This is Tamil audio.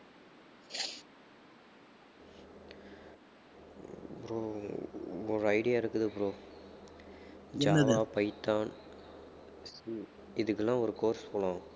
bro ஒரு idea இருக்குது bro ஜாவா, பைத்தான் இதுக்கெல்லாம் ஒரு course போணும்